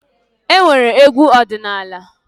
E nwere Egwu ọdịnaala.